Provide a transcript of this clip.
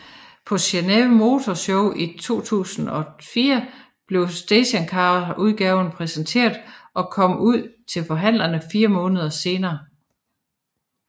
På Geneve Motor Show 2004 blev stationcarudgaven præsenteret og kom ud til forhandlerne fire måneder senere